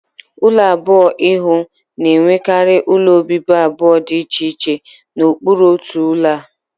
Ulo abụọ-ihu na-enwekarị ụlọ obibi abụọ dị iche iche na okpuru otu ụlọ a